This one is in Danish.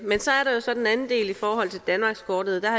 del i forhold til danmarkskortet og der